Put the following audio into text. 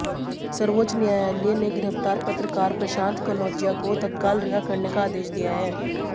सर्वोच्च न्यायालय ने गिरफ्तार पत्रकार प्रशांत कनौजिया को तत्काल रिहा करने का आदेश दिया है